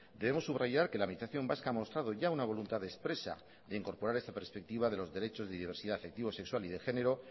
debemos subrayar que la administración vasca ha mostrado ya una voluntad expresa de incorporar esta perspectiva de los derechos de diversidad afectivo sexual y de género